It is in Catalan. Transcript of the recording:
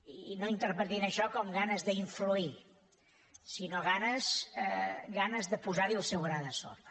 i no interpretin això com ganes d’influir sinó ganes de posar hi el seu gra de sorra